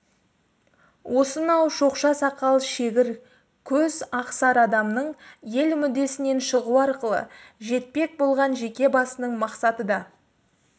осынау шоқша сақал шегір көз ақ сары адамның ел мүддесінен шығу арқылы жетпек болған жеке басының мақсаты да